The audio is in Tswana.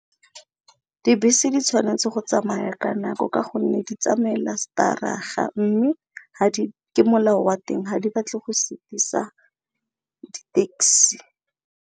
Dibese di tshwanetse go tsamaya ka nako ka gonne di tsamaela stadig-a mme ke molao wa teng ha di batle go sutisa di taxi.